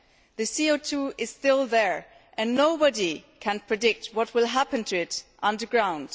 The CO 2 is still there and nobody can predict what will happen to it underground.